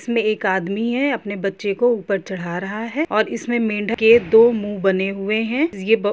इसमें एक आदमी है अपने बच्चों को ऊपर चढ़ा रहा है और इसमें मेंढक के दो मुंह बने हुए हैं ये ब--